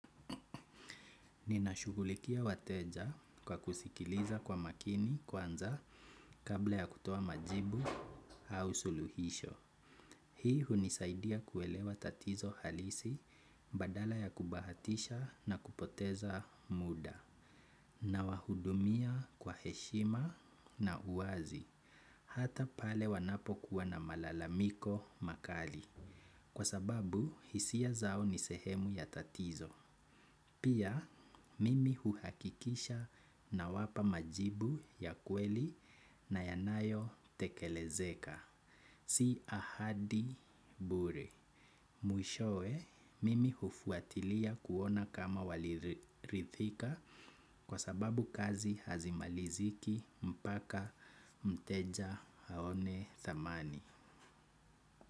Ninashughulikia wateja kwa kusikiliza kwa makini kwanza kabla ya kutoa majibu au suluhisho. Hii hunisaidia kuelewa tatizo halisi badala ya kubahatisha na kupoteza muda. Nawahudumia kwa heshima na uwazi. Hata pale wanapokuwa na malalamiko makali. Kwa sababu hisia zao ni sehemu ya tatizo. Pia, mimi huhakikisha nawapa majibu ya kweli na yanayotekelezeka. Si ahadi bure. Mwishowe mimi hufuatilia kuona kama waliridhika kwa sababu kazi hazimaliziki mpaka mteja aone thamani.